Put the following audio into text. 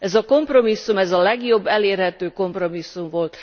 Ez a kompromisszum, ez a legjobb elérhető kompromisszum volt.